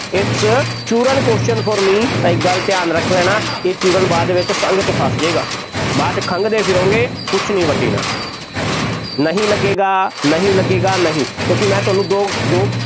its ਚੂਰਨ question for me ਤਾਂ ਇੱਕ ਗੱਲ ਧਿਆਨ ਰੱਖ ਲੈਣਾ, ਇਹ ਚੂਰਨ ਬਾਅਦ ਦੇ ਵਿੱਚ ਸੰਘ ਦੇ ਵਿੱਚ ਫਸ ਜਾਏਗਾ, ਬਾਅਦ 'ਚ ਖੰਘਦੇ ਫਿਰੋਗੇ, ਕੁੱਝ ਨਹੀਂ ਵੱਟਣਾ, ਨਹੀਂ ਲੱਗੇਗਾ, ਨਹੀਂ ਲੱਗੇਗਾ ਨਹੀਂ, ਕਿਉਂਕਿ ਮੈਂ ਤੁਹਾਨੂੰ ਦੋ ਦੋ